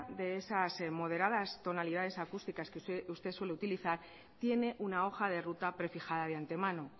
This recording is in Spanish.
de esas moderadas tonalidades acústicas que usted suele utilizar tiene una hoja de ruta prefijada de antemano